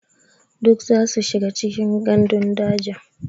Duk zasu shiga cikin gandun daji.